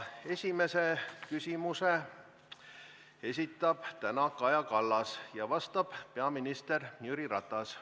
Esimese küsimuse esitab täna Kaja Kallas ja vastab peaminister Jüri Ratas.